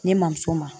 Ne ma muso ma